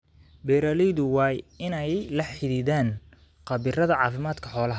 Beeralaydu waa inay la xidhiidhaan khabiirada caafimaadka xoolaha.